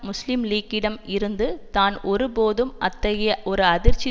முஸ்லீம் லீக்கிடம் இருந்து தான் ஒரு போதும் அத்தகைய ஒரு அதிர்ச்சி